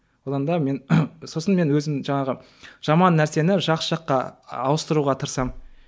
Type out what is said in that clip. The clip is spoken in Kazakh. одан да мен сосын мен өзім жаңағы жаман нәрсені жақсы жаққа ауыстыруға тырысамын